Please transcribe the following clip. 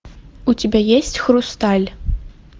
у тебя есть хрусталь